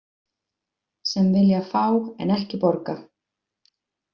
Sem vilja fá en ekki borga.